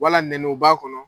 Wala nɛniw b'a kɔnɔ.